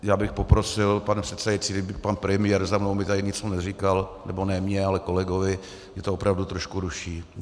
Já bych poprosil, pane předsedající, kdyby pan premiér za mnou mi tady něco neříkal, nebo ne mně, ale kolegovi, mě to opravdu trošku ruší.